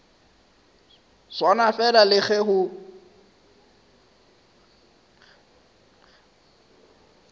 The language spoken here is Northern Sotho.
swana fela le ge o